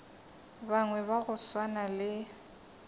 bangwe ba go swana le